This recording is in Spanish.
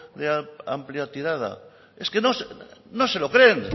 de amplia tirada es que no se lo creen